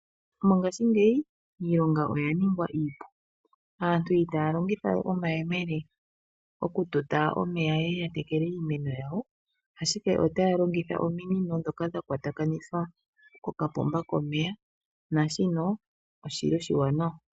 Mongashingeyi ilonga oya ningwa iipu, aantu itaya longitha we omayemele okututa omeya yeye ya tekele iimeno yawo. Ashike otaya longitha ominino ndhoka dhakwatakanithwa kokapomba komeya naashino oshili oshiwanawa.